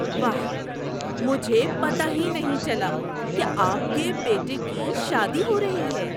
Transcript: واہ! مجھے پتہ ہی نہیں چلا کہ آپ کے بیٹے کی شادی ہو رہی ہے!